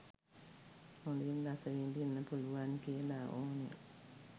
හොදින් රස විදින්න පුළුවන් කියලා ඕනේ.